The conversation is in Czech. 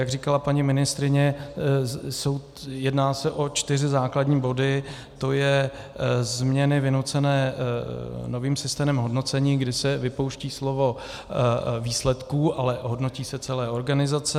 Jak říkala paní ministryně, jedná se o čtyři základní body, to je změny vynucené novým systémem hodnocení, kdy se vypouští slovo "výsledků", ale hodnotí se celé organizace.